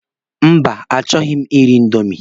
Mba, a chọghi m iri indomi.